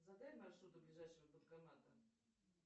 задай маршрут до ближайшего банкомата